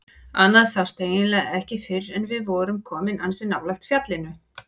Annað sást eiginlega ekki fyrr en við vorum komin ansi nálægt fjallinu.